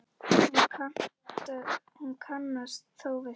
Hún kannast þó við það.